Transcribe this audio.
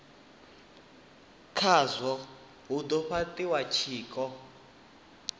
khazwo ha do fhatiwa tshiko